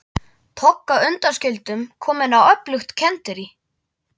Togga undanskildum komin á öflugt kenderí.